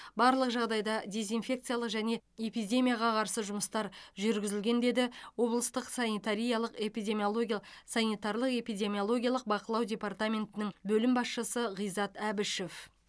барлық жағдайда дезинфекциялық және эпидемияға қарсы жұмыстар жүргізілген деді облыстық санитариялық эпидемиология санитарлық эпидемиологиялық бақылау департаментінің бөлім басшысы ғизат әбішев